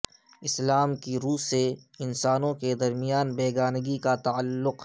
اسلام کی رو سے انسانوں کے درمیان بیگانگی کا تعلق